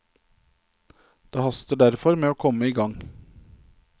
Det haster derfor med å komme i gang.